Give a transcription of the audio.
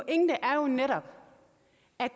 er